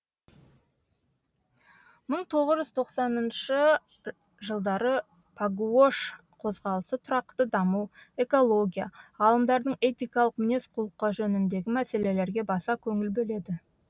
мың тоғыз жүз тоқсаныншы жылдары пагуош қозғалысы тұрақты даму экология ғалымдардың этикалық мінез құлқы жөніндегі мәселелерге баса көңіл бөледі